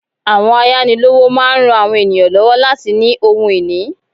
Àwọn ayánilówó máa n rán àwọn ènìyàn lọ́wọ́ láti ní ohun ìní